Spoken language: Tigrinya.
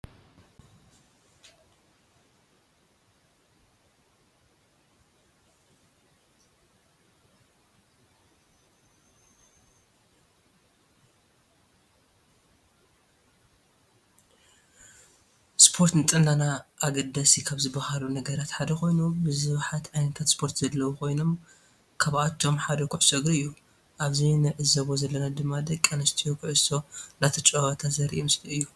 ሰፖርት ንጥዕናና አገደስ ካብ ዝበሃሉ ነገራት ሓደ ኮይኑ ብዛሓት ዓይነታት ስፖርት ዘለው ኮይኖም ካአቶም ሓደ ኩዕሶ እግሪ እዩ። አብዚ ንዕዘቦ ዘለና ድማ ደቂ አንስትዬ ኪዕሶ እናዳተጫወታ ዘሪኢ ምስሊ እዩ።